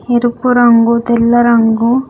ఎరుపు రంగు తెల్ల రంగు.